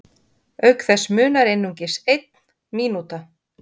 auk þess munar einungis einn mínúta